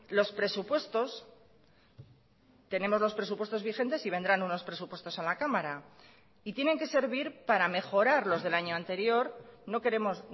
los presupuestos tenemos los presupuestos vigentes y vendrán unos presupuestos a la cámara y tienen que servir para mejorar los del año anterior no queremos